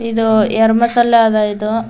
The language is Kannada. ಇದು ಏರ್ ಬಸ್ ಅಲ್ಲಾದ ಇದು.